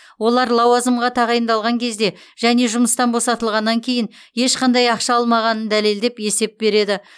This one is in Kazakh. олар лауазымға тағайындалған кезде және жұмыстан босатылғаннан кейін ешқандай ақша алмағанын дәлелдеп есеп береді